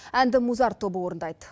әнді музарт тобы орындайды